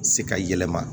Se ka yɛlɛma